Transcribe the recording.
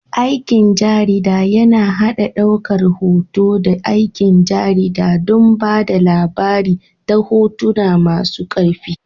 Aikin jarida yAna haɗa ɗaukar hoto da aikin jarida don ba da labari ta hotuna masu ƙarfi